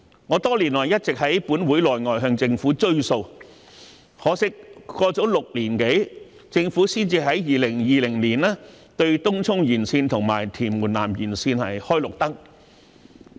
我多年來一直在立法會內外向政府"追數"，可惜，過了6年多，政府才在2020年對東涌綫延綫和屯門南延綫"開綠燈"。